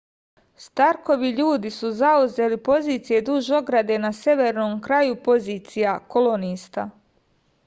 starkovi ljudi su zauzeli pozicije duž ograde na severnom kraju pozicija kolonista